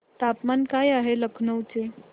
तापमान काय आहे लखनौ चे